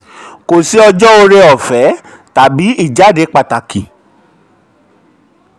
kò sí ọjọ́ oore-ọ̀fẹ́ tàbí ìjàde pàtàkì.